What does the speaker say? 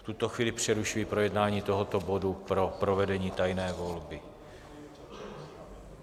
V tuto chvíli přerušuji projednání tohoto bodu pro provedení tajné volby.